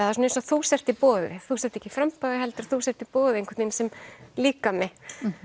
er svona eins og þú sért í boði þú sért ekki í framboði heldur þú sért í boði einhvern veginn sem líkami